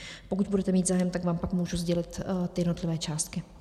Pokud budete mít zájem, tak vám pak můžu sdělit ty jednotlivé částky.